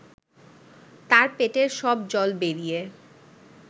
তার পেটের সব জল বেরিয়ে